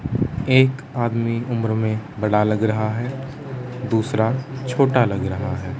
एक आदमी उम्र में बड़ा लग रहा है दूसरा छोटा लग रहा है।